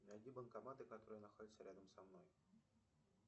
найди банкоматы которые находятся рядом со мной